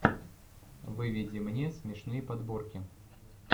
выведи мне смешные подборки